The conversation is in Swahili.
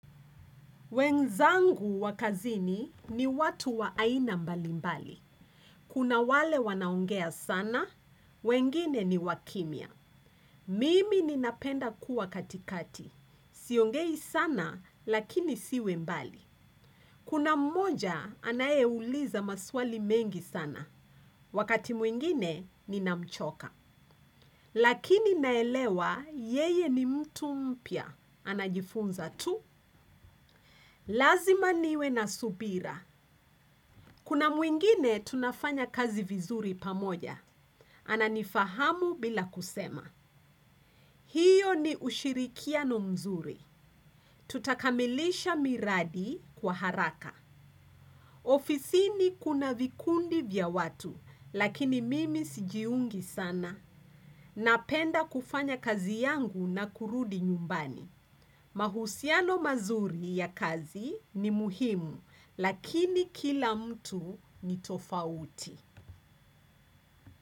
Wenzangu wakazini ni watu wa aina mbalimbali. Kuna wale wanaongea sana, wengine ni wakimia. Mimi ninapenda kuwa katikati. Siongei sana lakini siwe mbali. Kuna mmoja anayeuliza maswali mengi sana. Wakati mwingine ninamchoka. Lakini naelewa yeye ni mtu mpia. Anajifunza tu. Lazima niwe na subira. Kuna mwingine tunafanya kazi vizuri pamoja. Ana nifahamu bila kusema. Hiyo ni ushirikia no mzuri. Tutakamilisha miradi kwa haraka. Ofisi ni kuna vikundi vya watu, lakini mimi sijiungi sana. Napenda kufanya kazi yangu na kurudi nyumbani. Mahusiano mazuri ya kazi ni muhimu, lakini kila mtu ni tofauti.